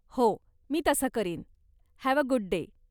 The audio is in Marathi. हो. मी तसं करीन. Have a good day.